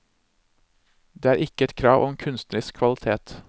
Det er ikke et krav om kunstnerisk kvalitet.